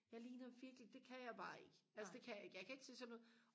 jeg ligner virkelig det kan jeg bare ikke altså jeg kan ikke jeg kan ikke se sådan ud